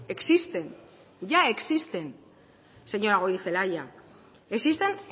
existen ya existen señora goirizelaia existen